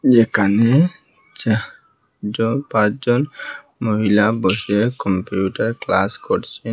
এখানে চা জ পাঁচজন মহিলা বসে কম্পিউটার ক্লাস করছেন।